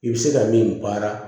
I bɛ se ka min baara